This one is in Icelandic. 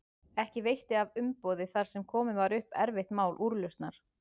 Ekki veitti af umboði þar sem komið var upp erfitt mál úrlausnar.